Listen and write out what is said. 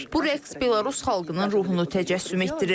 Bu rəqs Belarus xalqının ruhunu təcəssüm etdirir.